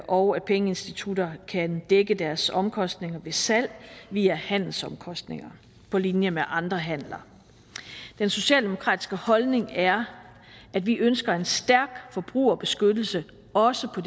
og at pengeinstitutter kan dække deres omkostninger ved salg via handelsomkostninger på linje med andre handler den socialdemokratiske holdning er at vi ønsker en stærk forbrugerbeskyttelse også på